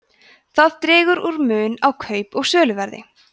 það dregur úr mun á kaup og söluverði